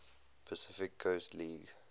pacific coast league